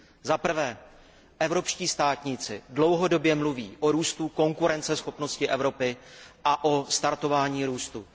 Za prvé, evropští státníci dlouhodobě mluví o růstu konkurenceschopnosti Evropy a o startování růstu.